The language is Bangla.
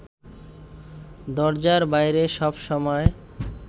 দরজার বাইরে সবসময়